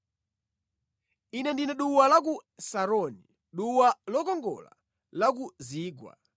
Ine ndine duwa la ku Saroni, duwa lokongola la ku zigwa.